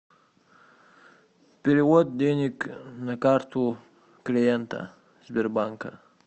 перевод денег на карту клиента сбербанка